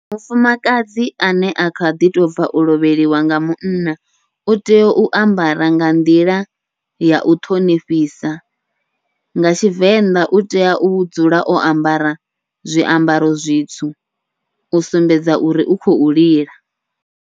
Mufumakadzi ane a kha ḓi tobva u lovheliwa nga munna, utea u ambara nga nḓila yau ṱhonifhisa nga Tshivenḓa utea u dzula o ambara zwiambaro zwitsu, u sumbedza uri u khou lila.